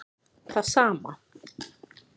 Það sama